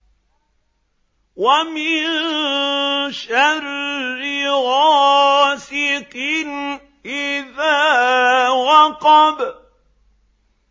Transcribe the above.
وَمِن شَرِّ غَاسِقٍ إِذَا وَقَبَ